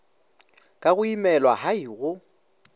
ka go imelwa hai go